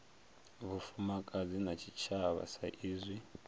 vhufumakadzi na tshitshavha sa izwi